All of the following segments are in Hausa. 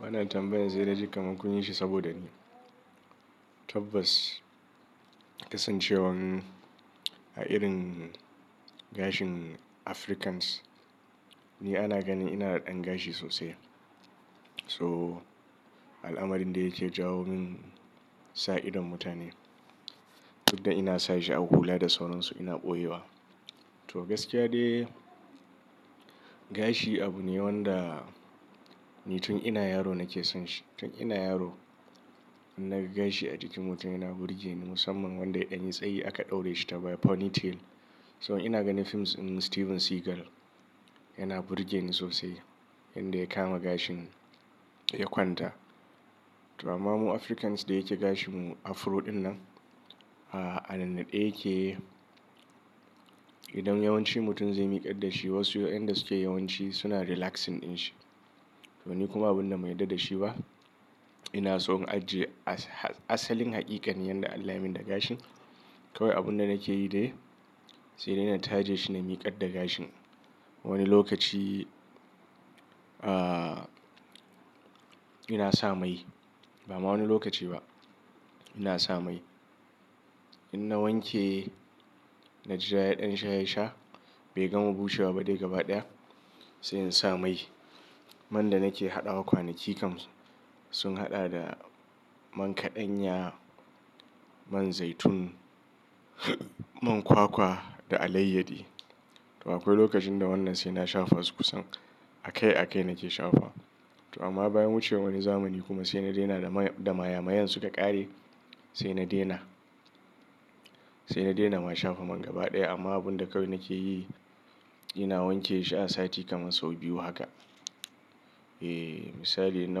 Wannan tambayar sai naji kamar kun yi shi saboda ni tabbas kasancewar a irin gashin Africans, ni ana ganin ina da ɗan gashi sosai. So al'amarin da yake jawo min sa idon mutane. Duk da ina sa shi a hula da sauransu ina ɓoye wa. To gaskiya dai gashi abu ne wanda ni tun ina yaro nake son shi. Tun ina yaro in naga gashi a jikin mutum yana burge ni musamman wanda ya ɗan yi tsayi aka ɗaure shi ta baya ponytail. So ina ganin films ɗin Steven Seagal yana burge ni sosai, yanda ya kama gashin ya kwanta. To amma mu Africans da yake gashin mu afro ɗin nan, a nannaɗe yake idan yawanci mutum zai miƙar da shi wasu inda suke yawanci suna relaxing ɗin shi. To ni kuma abun da ban yarda da shi ba. Ina so in ajiye asalin haƙiƙanin yanda Allah ya min da gashin. Kawai abunda nake yi dai sai dai na taje shi na miƙar da gashin. Wani lokaci, ina sa mai. Ba ma wani lokaci ba ina sa mai. In na wanke na jira ya ɗan shahe sha bai gama bushewa ba dai gaba ɗaya sai in sa mai. Man da nake haɗawa kwanaki kam sun haɗa da man kaɗanya, man zaitun, man kwakwa da alayyadi. To akwai lokacin da wannan sai na shafa su kusan a kai a kai nake shafa. To amma bayan wucer zamani kuma sai na daina da mayamayen suka ƙare sai na daina. Sai na daina ma shafa man gaba ɗaya amma abun da kawai nake yi ina wanke shi a sati kamar sau biyu haka. Eh misali inna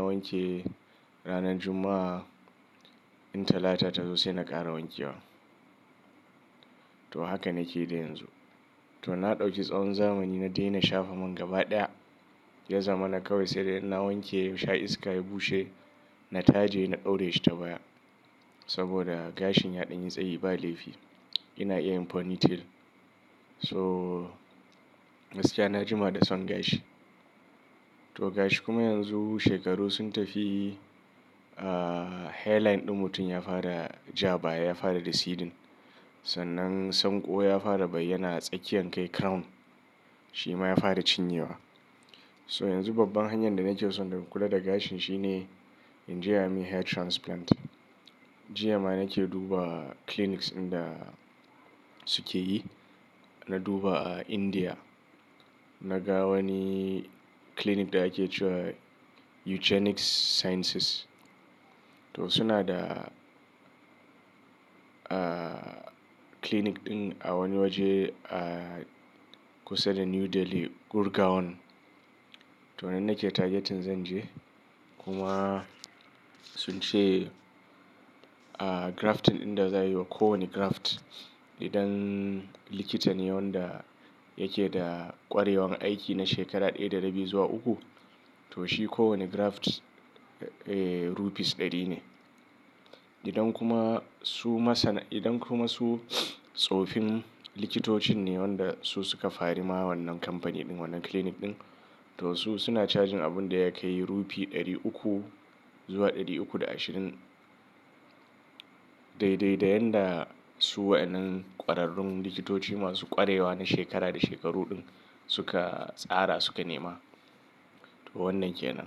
wanke ranan Juma'a, in Talata ta zo sai na ƙara wanke wa. To haka nake yi yanzu. To na ɗauki tsawon zamani na daina shafa man gaba ɗaya. Ya zama na kawai sai dai in na wanke ya sha iska ya bushe na taje na ɗaure shi ta baya. Saboda gashin ya ɗan yi tsayi ba laifi. Ina iya yin ponytail. So gaskiya na jima da son gashi. To gashi kuma yanzu shekaru sun tafi hairline ɗin mutum ya fara ja baya ya fara receding. Sannan sanƙo ya fara bayyana a tsakiyan kai crown. Shi ma ya fara cinyewa. So yanzu babban hanyar da nake so in kula da gashin shine in je a yi min hair transplant. Jiya ma nake duba clinics inda suke yi. Na duba a India. Na ga wani clinic daya ake cewa Eugenics Sciences. To suna da, clinic ɗin a wani waje a kusa da New Delhi, Gurgaon. To nan nake targeting zan je. Kuma sun ce grafting inda za a yi ko wani graft idan likitan ne wanda yake da ƙwarewan aiki na shekara ɗaya da rabi zuwa uku to shi ko wani graft rupees ɗari ne. Idan kuma su masana, idan kuma su tsofin likitocin ne wanda su suka fari ma wannan kamfani ɗin wannan clinic ɗin to su suna charging abun da yake rupee ɗari uku zuwa ɗari uku da ashirin. Daidai da yanda su wa'yannan ƙwararrun likitoci masu ƙwarewa na shekara da shekaru ɗin suka tsara suka nema. To wannan ke nan.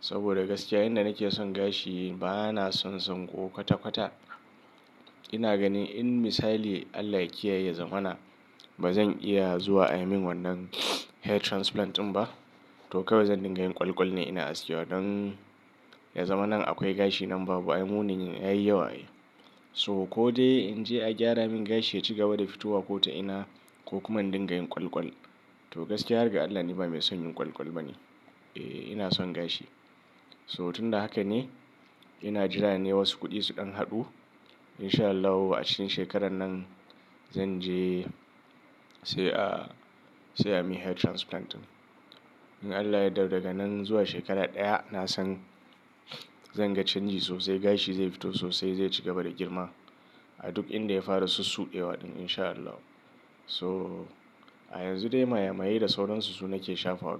Saboda gaskiya yanda nake son gashi bana son sanƙo kwata-kwata. Ina ganin in misali Allah yake ya yi ya zama na bazan iya zuwa a yi min wannan hair transplant ɗin ba to kawai zan dinga yin ƙwalƙwal ne ina aske wa don ya zama nan akwai gashi nan babu. Ai munin yayi yawa ai. So ko dai in je a gyara min gashi ya cigaba da fitowa ko ta ina ko kuma in dinga yin ƙwalƙwal. To gaskiya har ga Allah ni ba mai son yin ƙwalƙwal ba ne. Eh ina son gashi. So tun da haka ne ina jira ne wasu kuɗi su ɗan haɗu in sha Allah a cikin shekarar nan zan je sai a, sai a yi min hair transplant ɗin. In Allah ya yarda daga nan zuwa shekara ɗaya na san zan ga canji sosai. Gashi zai fito sosai zai cigaba da girma a duk inda ya fara sussuɗewa ɗin in sha Allah. So a yanzu dai mayamayai da sauransu su nake shafa wa.